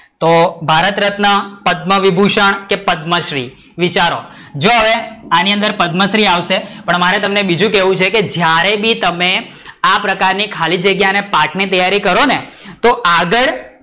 તો ભારતરત્ન, પદ્મવિભૂષણ કે પદ્મશ્રી વિચારો? જો હવે આની અંદર પદ્મશ્રી આવશે. પણ મારે તમને બીજું કેવું છે કે જયારે બી તમે આ પ્રકસર ની ખાલી જગ્યા ના પાઠ ની તૈયરી કરો ને તો આગળ,